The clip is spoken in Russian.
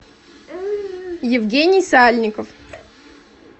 евгений сальников